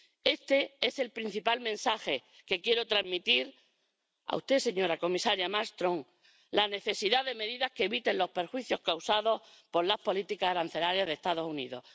Este es el principal mensaje que quiero transmitirle a usted, señora comisaria Malmström la necesidad de medidas que eviten los perjuicios causados por las políticas arancelarias de los Estados Unidos.